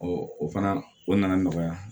o fana o nana nɔgɔya